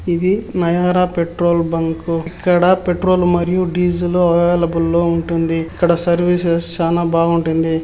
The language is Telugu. ఇది నయారా పెట్రోల్ బంకు. ఇక్కడ పెట్రోల్ మరియు డీజిల్ అవైలబులో వుంటుంది. ఇక్కడ సర్వీసెస్ చానా బావుంటుంది.